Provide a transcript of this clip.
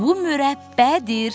Bu mürəbbədir.